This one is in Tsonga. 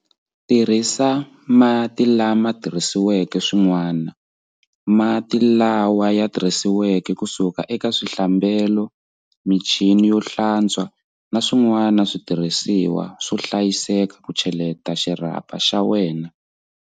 Tirhisa mati lamatirhisiweke swin'wani, mati lawa ya tirhisiweke kusuka eka swihlambelo, michini yo hlatswa na swin'wani switirhisiwa swo hlayiseka ku cheleta xirhapa xa wena.